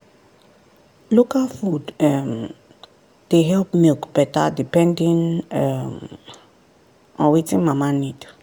local food um dey help milk better depending[um] wetin mama need